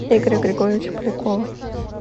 игоря григорьевича полякова